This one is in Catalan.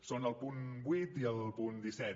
són el punt vuit i el punt disset